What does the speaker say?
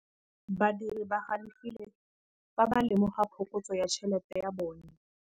Badiri ba galefile fa ba lemoga phokotsô ya tšhelête ya bone.